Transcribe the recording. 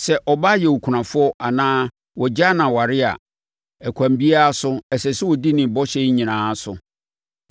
“Sɛ ɔbaa yɛ okunafoɔ anaa wɔagyaa no aware a, ɛkwan biara so, ɛsɛ sɛ ɔdi ne bɔhyɛ nyinaa so.